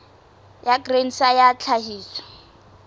ya grain sa ya tlhahiso